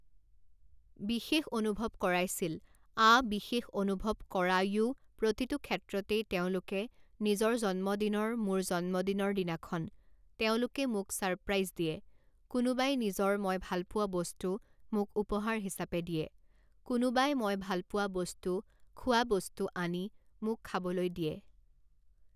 বিশেষ অনুভৱ কৰাইছিল আ বিশেষ অনুভৱ কৰাওয়ো প্ৰতিটো ক্ষেত্ৰতেই তেওঁলোকে নিজৰ জন্মদিনৰ মোৰ জন্মদিনৰ দিনাখন তেওঁলোকে মোক ছাৰপ্ৰাইজ দিয়ে, কোনোবাই নিজৰ মই ভালপোৱা বস্তু মোক উপহাৰ হিচাপে দিয়ে, কোনোবাই মই ভালপোৱা বস্তু খোৱা বস্তু আনি মোক খাবলৈ দিয়ে